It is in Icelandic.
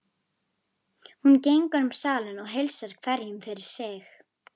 Hún gengur um salinn og heilsar hverjum fyrir sig.